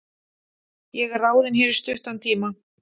Ég er ráðinn hér í stuttan tíma.